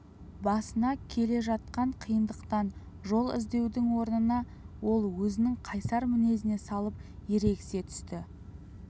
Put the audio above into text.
басына келе жатқан қиындықтан жол іздеудің орнына ол өзінің қайсар мінезіне салып ерегісе түсті